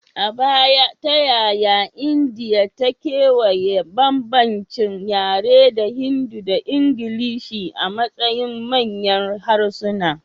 A baya, ta yaya Indiya ta kewaya bambancin yare da Hindi da Ingilishi a matsayin manyan harsuna?